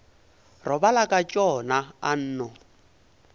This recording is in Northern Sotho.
robala ka tšona a nno